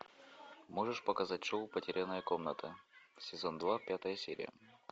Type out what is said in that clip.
можешь показать шоу потерянная комната сезон два пятая серия